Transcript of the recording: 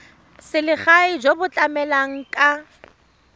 selegae jo bo tlamelang ka